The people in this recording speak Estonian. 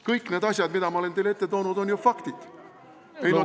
Kõik need asjad, mida ma olen teile ette toonud, on ju faktid.